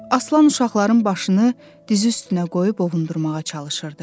Aslan uşaqların başını dizi üstünə qoyub ovundurmağa çalışırdı.